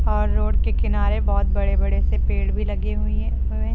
और रोड के किनारे बहुत बड़े बड़े से पेड़ भी लगी हुई है हुए।